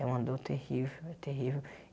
É uma dor terrível, é terrível.